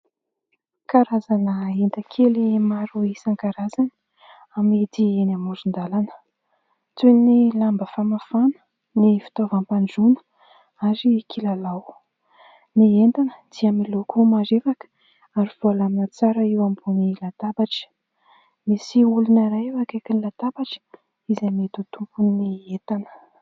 Karazana entan-kely maro isan-karazany amidy eny amoron-dàlana, toy ny lamba famafana ny fitaovam-pandroana ary kilalao. Ny entana dia miloko marevaka ary voalamina tsara eo ambony latabatra, misy olona iray eo akaiky latabatra izay mety ho tompon'ny entana.